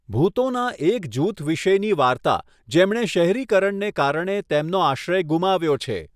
ભૂતોનાં એક જૂથ વિષેની વાર્તા જેમણે શહેરીકરણને કારણે તેમનો આશ્રય ગુમાવ્યો છે.